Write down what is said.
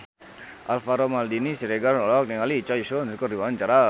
Alvaro Maldini Siregar olohok ningali Choi Siwon keur diwawancara